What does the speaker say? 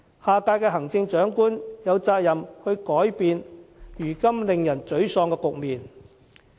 下屆行政長官有責任改變令人沮喪的局面。